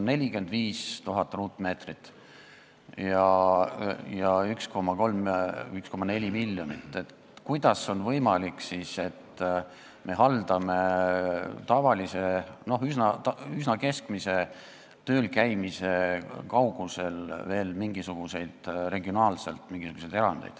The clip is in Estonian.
45 000 ruutkilomeetrit ja 1,4 miljonit inimest – kuidas on võimalik, et me haldame üsna keskmise töölesõidu kaugusel veel mingisuguseid regionaalseid erandeid?